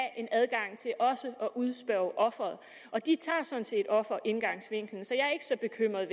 en adgang til også at udspørge offeret og de tager sådan set offerindgangsvinklen så jeg er ikke så bekymret